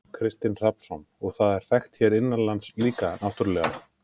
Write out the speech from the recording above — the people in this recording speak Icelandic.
Kristinn Hrafnsson: Og það er þekkt hér innanlands líka náttúrulega?